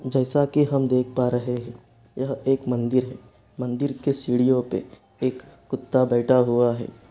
जैसा कि हम देख पा रहे है यह एक मन्दिर है मन्दिर के सीढ़ियों पे एक कुत्ता बैठा हुआ है।